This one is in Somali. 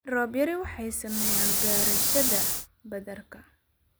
Roobab yari waxay saameeyaan beerashada badarka.